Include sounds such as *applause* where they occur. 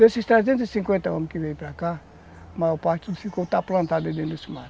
Desses trezentos e cinquenta homens que vieram para cá, a maior parte ficou *unintelligible*